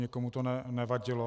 Nikomu to nevadilo.